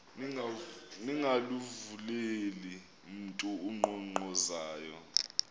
ningavuleli mntu unkqonkqozayo